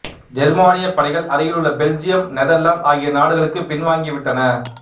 ஜெர்மானியப் படைகள் அருகிலுள்ள Belgium Netherlands ஆகிய நாடுகளுக்கு பின்வாங்கி விட்டன